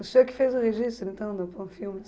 O senhor que fez o registro, então, do Panfilmes?